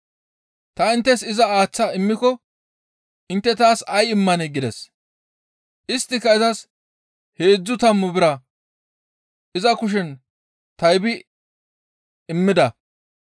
«Ta inttes iza aaththa immiko intte taas ay immanee?» gides. Isttika izas heedzdzu tammu bira iza kushen taybi immida.